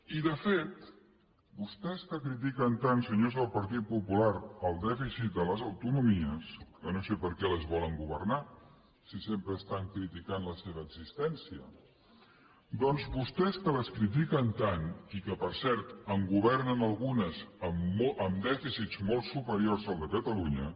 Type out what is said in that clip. i de fet vostès que critiquen tant senyors del partit popular el dèficit de les autonomies que no sé per què les volen governar si sempre estan criticant la seva existència doncs vostès que les critiquen tant i que per cert en governen algunes amb dèficits molt superiors al de catalunya